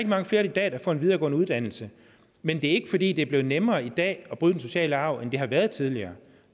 mange flere i dag der får en videregående uddannelser men det er ikke fordi det er blevet nemmere i dag at bryde den sociale arv end det har været tidligere